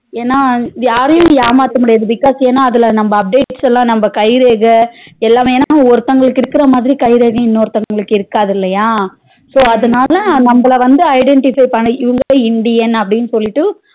ஏனா யாரையும் ஏமாத முடியாது because ஏனா அதுல நம்ம updates லாம் நம்ம கைரேகை எல்லாமே ஒருத்தங்களுக்கு இருக்குறமாதிரி கைரேகை இன்னொருதங்களுக்கு இருக்காது இல்லையா so அதனால நம்மள வந்து identify பண்ணி இவங்க indian அப்டினு சொல்லிட்டு